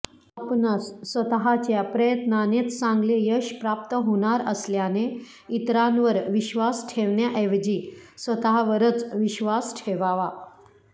आपणास स्वतःच्या प्रयत्नानेच चांगले यश प्राप्त होणार असल्याने इतरांवर विश्वास ठेवण्याऐवजी स्वतःवरच विश्वास ठेवावा